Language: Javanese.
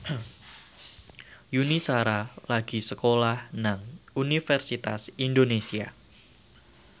Yuni Shara lagi sekolah nang Universitas Indonesia